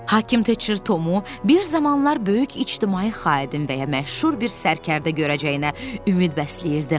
Hakim Teçir Tomu bir zamanlar böyük ictimai xadimin və ya məşhur bir sərkərdə görəcəyinə ümid bəsləyirdi.